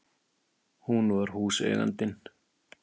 Hún var húseigandinn!